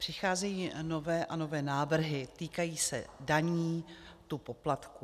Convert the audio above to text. Přicházejí nové a nové návrhy, týkají se daní, tu poplatků.